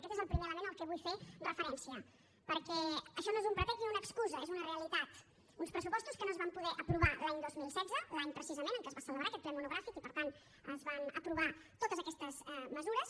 aquest és el primer element al que vull fer referència perquè això no és un pretext ni una excusa és una realitat uns pressupostos que no es van poder aprovar l’any dos mil setze l’any precisament en què es va celebrar aquest ple monogràfic i per tant es van aprovar totes aquestes mesures